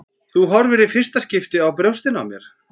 Þú horfir í fyrsta skipti á brjóstin á mér.